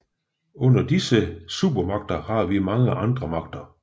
Under disse supermagter har vi mange andre magter